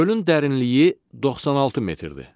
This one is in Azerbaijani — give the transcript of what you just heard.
Gölün dərinliyi 96 metrdir.